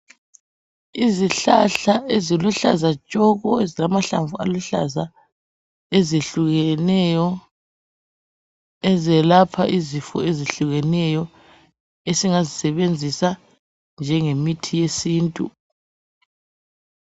Izihlahla eziluhlaza tshoko ezilamahlamvu aluhlaza ezehlukeneyo ezelapha izifo ezehlukeneyo esingazisebenzisa njenge mithi yesintu.